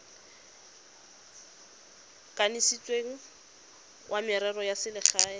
kanisitsweng wa merero ya selegae